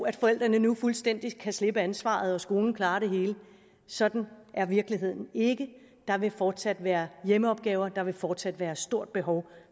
at forældrene nu fuldstændig kan slippe ansvaret og skolen klarer det hele sådan er virkeligheden ikke der vil fortsat være hjemmeopgaver der vil fortsat være et stort behov